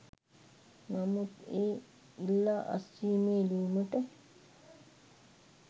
නමුත් ඒ ඉල්ලා අස්වීමේ ලියුමට